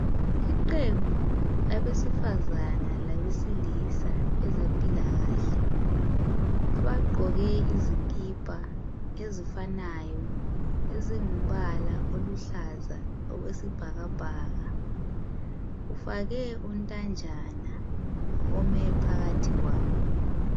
Iqembu labesifazana labesilisa abezempilakahle, abagqoke izikipa ezifanayo ezingumbala oluhlaza okwesibhakabhaka. Kufakwe untanjana ome phakathi kwabo.